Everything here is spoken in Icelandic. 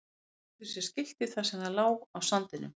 Þeir virtu fyrir sér skiltið þar sem það lá á sandinum.